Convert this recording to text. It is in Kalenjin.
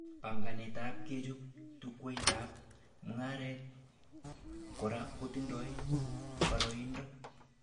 Banganetab kechob chukwaitab mugaret kora kotindoi baraindo